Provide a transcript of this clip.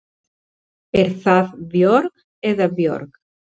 Er það Björg eða Björg?